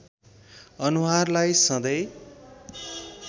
अनुहारलाई सधैँ